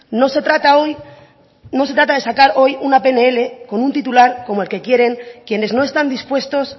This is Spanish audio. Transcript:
no se trata hoy no se trata de sacar hoy una pnl con un titular como el que quieren quienes no están dispuestos